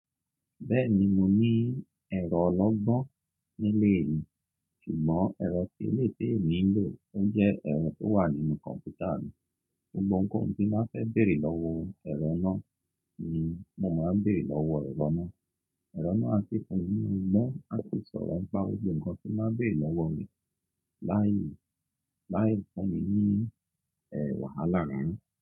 Bẹ́ẹ̀ni mo ní ẹ̀rọ ọlọ́gbọ́n nílé mi, ṣùgbọ́n ẹ̀rọ tí eléyìí témi nlò ó jẹ́ ẹ̀rọ tó wà nínú kọ̀npútà mi. Gbóńgbó oun tí n bá fẹ́ bèrè lọ́wọ́ ẹ̀rọ náà ni mo máa ń bèrè lọ́wọ́ ẹ̀rọ náà. Ẹ̀rọ náà á ṣi fun mí mọ́ á sì sọ̀rọ̀ ńipá gbogbo ohun kan tí mba bèrè lọ́wọ́ re láàyè tó bá mi ní e wàhálà rara.